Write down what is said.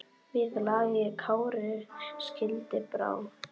Við lagi Kári skildi brá.